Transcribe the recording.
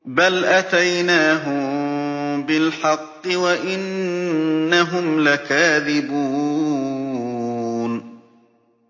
بَلْ أَتَيْنَاهُم بِالْحَقِّ وَإِنَّهُمْ لَكَاذِبُونَ